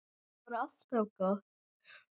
Það var alltaf gott.